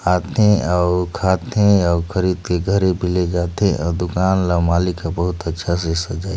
आथे अऊ खाथे अऊ खरीद थे घरे पे ले जाथे अऊ दुकान ल मालिक ह बहुत अच्छा से सजाई--